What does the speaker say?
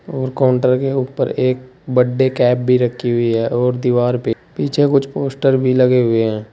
और काउंटर के ऊपर एक बर्थडे कैप भी रखी हुई है और दीवार पर पीछे कुछ पोस्टर भी लगे हुए हैं।